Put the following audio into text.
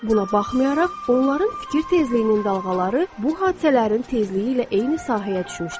Buna baxmayaraq, onların fikir tezliyinin dalğaları bu hadisələrin tezliyi ilə eyni sahəyə düşmüşdür.